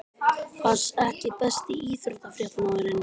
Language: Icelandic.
Pass EKKI besti íþróttafréttamaðurinn?